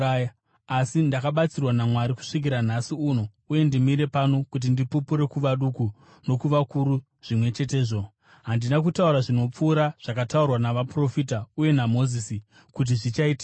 Asi ndakabatsirwa naMwari kusvikira nhasi uno, uye ndimire pano kuti ndipupure kuvaduku nokuvakuru zvimwe chetezvo. Handina kutaura zvinopfuura zvakataurwa navaprofita uye naMozisi kuti zvichaitika,